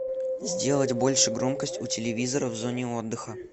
сделать больше громкость у телевизора в зоне отдыха